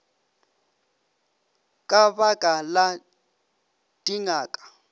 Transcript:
ka ba ka la dingaka